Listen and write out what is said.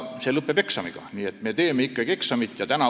See lõpeb eksamiga, nii et me teeme ikkagi eksami.